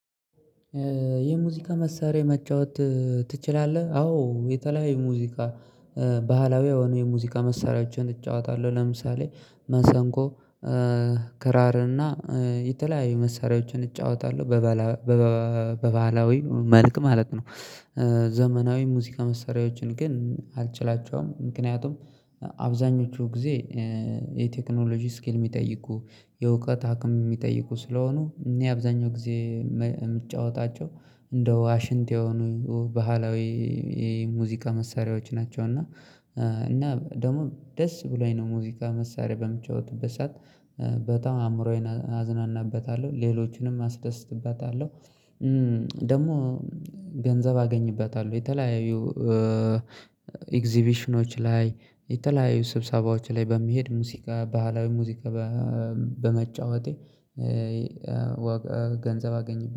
የሙዚቃ መሳሪያ መጫወት ትችላለህ? አዎ የተለያዩ ሙዚቃ ባህላዊ የሆኑ የሙዚቃ መሳሪያዎችን እጫወታለሁ ለምሳሌ መሰንቆ ክራር እና የተለያዩ መሳሪያዎችን እጫወታለሁ በበላ በባህላዊ መልክ ማለት ነው ዘመናዊ ሙዚቃ መስሪያዎችን ግን አልችላቸውም ምክንያቱም አብዛኞቹ ጊዜ የቴክኖሎጂ ስኪል የሚጠይቁ የእውቀት አቅም የሚጠይቁ ስለሆኑ እኔ አብዛኛው ጊዜ የምጫወታቸው እንደ ዋሽንት የሆኑ ባህላዊ የሙዚቃ መሳሪያዎች ናቸው እና እና ደግሞ ደስ ብሎኝ ነው ሙዚቃ መሳሪያ በምጫወትበት ሰዓት በጣም አእምሮዬን አዝናናበታለሁ። ሌሎቹንም አስደስትበታለሁ። ደግሞ ገንዘብ አገኝበታለሁ። የተለያዩ ኤግዚቢሽኖች ላይ የተለያዩ ስብሰባዎች ላይ በመሄድ ሙዚቃ ባህላዊ ሙዚቃ በመጫወቴ ገንዘብ አገኘበት